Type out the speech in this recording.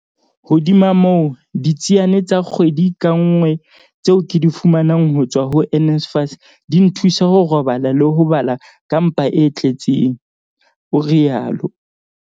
"Hodima moo, ditsiane tsa kgwedi ka nngwe tseo ke di fumanang ho tswa ho NSFAS di nthusa ho robala le ho bala ka mpa e tle tseng," o rialo.